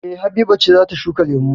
E. Habiba ce za ta shuka lemu.